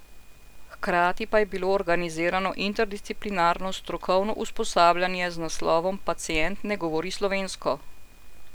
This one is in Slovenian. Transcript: Hkrati pa je bilo organizirano interdisciplinarno strokovno usposabljanje z naslovom Pacient ne govori slovensko!